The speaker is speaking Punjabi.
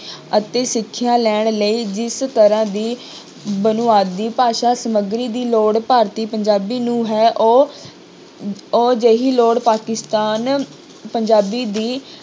ਅਤੇ ਸਿੱਖਿਆ ਲੈਣ ਲਈ ਜਿਸ ਤਰ੍ਹਾਂ ਦੀ ਬੁਨਿਆਦੀ ਭਾਸ਼ਾ ਸਮੱਗਰੀ ਦੀ ਲੋੜ ਭਾਰਤੀ ਪੰਜਾਬੀ ਨੂੰ ਹੈ ਉਹ ਉਹ ਜਿਹੀ ਲੋੜ ਪਾਕਿਸਤਾਨ ਪੰਜਾਬੀ ਦੀ